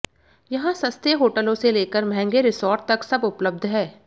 यहाँ सस्ते होटलों से लेकर महँगे रिसॉर्ट तक सब उपलब्ध हैं